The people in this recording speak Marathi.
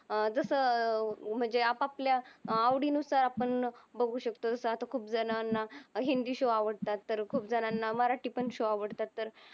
अह जस म्हंजे आप आपल्या आवडी अनुसार आपण बागू शकतो अस खूप जनांना हिंदी शो आवडतात तर खूप जनांना मराटी पण शो आवडतात तर